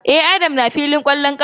E, Adam na filin kwallon kafar.